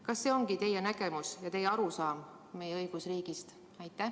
Kas see ongi teie nägemus ja teie arusaam meie õigusriigist?